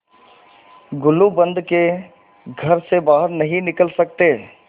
गुलूबंद के घर से बाहर नहीं निकल सकते